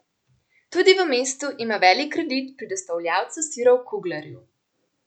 Tudi v mestu ima velik kredit pri dostavljavcu sirov Kuglerju.